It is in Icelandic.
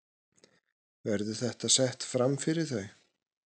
Verður þetta sett framfyrir þau?